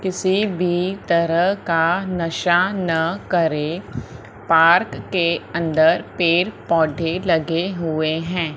किसी भी तरह का नशा ना करें पार्क के अंदर पेड़ पौधे लगे हुए हैं।